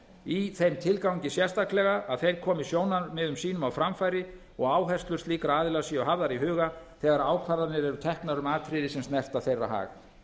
í þeim tilgangi sérstaklega að þeir komi sjónarmiðum sínum á framfæri og að áherslur slíkra aðila séu hafðar í huga þegar ákvarðanir eru teknar um atriði sem snerta þeirra hag